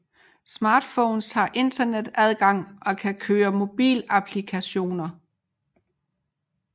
Smartphones har internetadgang og kan køre mobilapplikationer